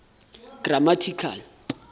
grammatical